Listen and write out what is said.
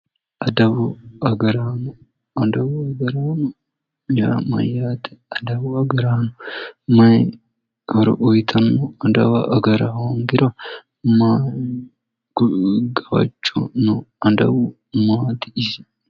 Adawu agaraano, adawu agaraano yaa mayyaate, adawu agaraano maayi horo uyittano, adawa agara hoongiro maayi gawajjo no, adawu maati isi?